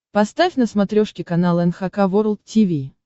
поставь на смотрешке канал эн эйч кей волд ти ви